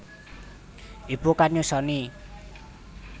Ibu kang nyusoni